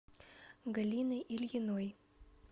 галиной ильиной